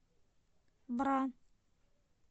бра